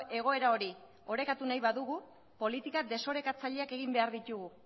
egoera hori orekatu nahi badugu politika desorekatzaileak egin behar ditugu